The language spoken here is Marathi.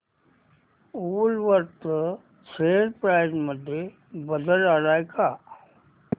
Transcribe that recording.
वूलवर्थ शेअर प्राइस मध्ये बदल आलाय का